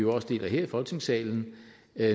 også her i folketingssalen